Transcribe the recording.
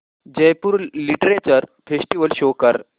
Jaipur literature festival show कर